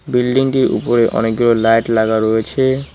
বিল্ডিংটির উপরে অনেকগুলো লাইট লাগা রয়েছে।